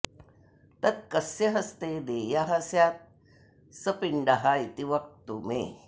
तत् कस्य हस्ते देयः स्यात्सः पिण्डः इति वक्तु मे